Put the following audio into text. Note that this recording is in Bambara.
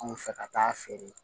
Anw fɛ ka taa feere